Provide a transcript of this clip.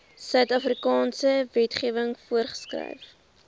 suidafrikaanse wetgewing voorgeskryf